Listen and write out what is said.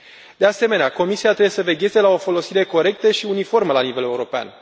De asemenea, Comisia trebuie să vegheze la o folosire corectă și uniformă la nivel european.